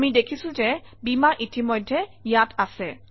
আমি দেখিছোঁ যে বীমাৰ ইতিমধ্যেই ইয়াত আছে